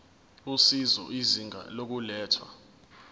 usizo izinga lokulethwa